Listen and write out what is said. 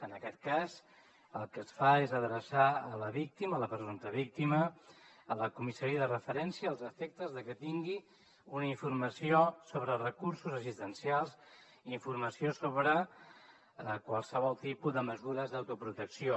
en aquest cas el que es fa és adreçar la víctima la presumpta víctima a la comissaria de referència als efectes que tingui una informació sobre els recursos assistencials i informació sobre qualsevol tipus de mesures d’autoprotecció